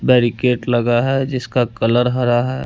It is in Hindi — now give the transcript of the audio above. बैरिकेट लगा है जिसका कलर हरा है।